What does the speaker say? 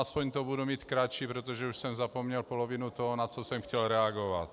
Aspoň to budu mít kratší, protože už jsem zapomněl polovinu toho, na co jsem chtěl reagovat.